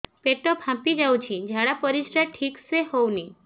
ପେଟ ଫାମ୍ପି ଯାଉଛି ଝାଡ଼ା ପରିସ୍ରା ଠିକ ସେ ହଉନି